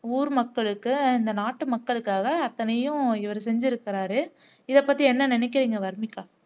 ஊர் மக்களுக்கு இந்த நாட்டு மக்களுக்காக அத்தனையும் இவர் செஞ்சுருக்கிறார் இதைப்பத்தி என்ன நினைக்கிறீங்க வர்னிகா